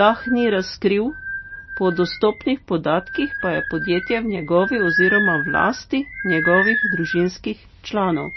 Lah ni razkril, po dostopnih podatkih pa je podjetje v njegovi oziroma v lasti njegovih družinskih članov.